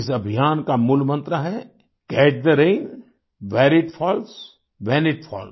इस अभियान का मूल मन्त्र है catch the rain where it falls when it falls